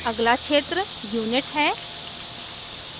अगला क्षेत्र unit है